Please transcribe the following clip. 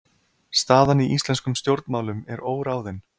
Staðan í íslenskum stjórnmálum er óráðin